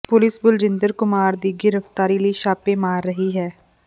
police Baljinder Kumar ਦੀ ਗ੍ਰਿਫਤਾਰੀ ਲਈ ਛਾਪੇ ਮਾਰ ਰਹੀ ਹੈ